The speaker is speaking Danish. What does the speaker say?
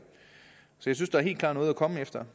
synes da helt der er noget at komme efter